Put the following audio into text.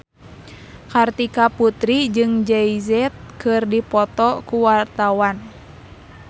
Kartika Putri jeung Jay Z keur dipoto ku wartawan